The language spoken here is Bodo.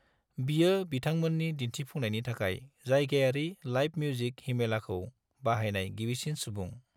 बेयो बिथांमोननि दिन्थिफुंनायनि थाखाय जायगायारि लाइभ मिउजिक हिमेलाखौ बाहायनाय गिबिसिन सुबुं।